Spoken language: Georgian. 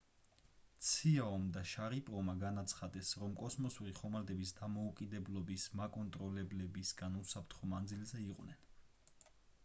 ციაომ და შარიპოვმა განაცხადეს რომ კოსმოსური ხომალდების დამოკიდებულების მაკონტროლებლებისგან უსაფრთხო მანძილზე იყვნენ